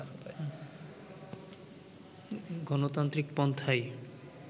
গণতান্ত্রিক পন্থাই